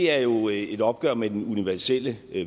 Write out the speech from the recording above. er jo et opgør med den universelle